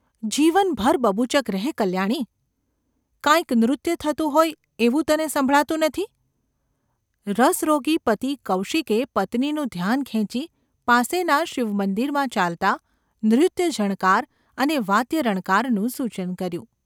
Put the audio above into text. ‘જીવનભર બબૂચક રહે, કલ્યાણી ! કાંઈક નૃત્ય થતું હોય એવું તને સંભળાતું નથી ?’ રસરોગી પતિ કૌશિકે પત્નીનું ધ્યાન ખેંચી પાસેના શિવમંદિરમાં ચાલતા નૃત્યઝણકાર અને વાદ્યરણકારનું સૂચન કર્યું.